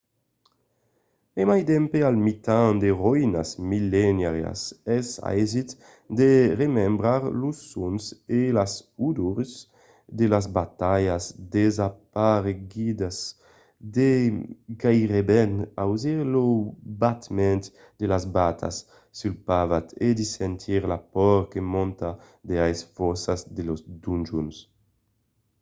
e mai dempè al mitan de roïnas millenàrias es aisit de remembrar los sons e las odors de las batalhas desaparegudas de gaireben ausir lo batement de las batas sul pavat e de sentir la paur que monta de aes fòssas de les donjons